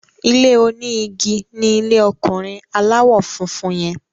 ilé oní ìgi ní ilè ọkunrin aláwò fún fún yen.